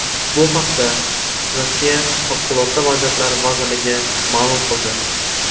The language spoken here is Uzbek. Bu haqda Rossiya Favqulodda vaziyatlar vazirligi ma’lum qildi .